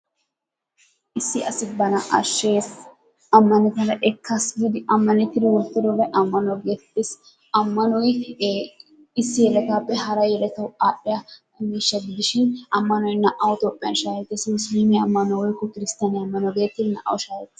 Issi asi bana ashshees amanidi ekkaas giidi amannettidi wootidobay ammano getettees. Ammanoy issi yelettaappe hara yelettawu adhdhiyaa miishsha gidishin ammanoy naa"awu toophphiyaan shaahettees, musulume ammanuwaa woykko kirsstiyaane ammanuwaa geettetidi naa"awu shaaheettees.